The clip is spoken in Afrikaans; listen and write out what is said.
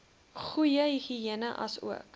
goeie higïene asook